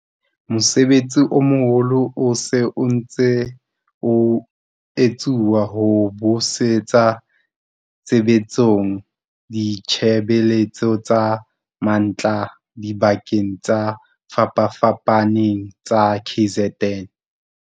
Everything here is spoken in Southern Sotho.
Mosebetsi o moholo o se o ntse o etsuwa ho busetsa tshebetsong ditshebeletso tsa mantlha dibakeng tse fapafapaneng tsa KZN.